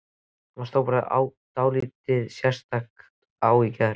Það stóð bara dálítið sérstaklega á í gær.